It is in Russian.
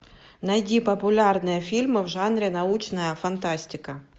найди популярные фильмы в жанре научная фантастика